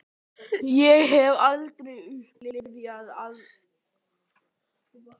Og það sem skilur þau að er hinn mikli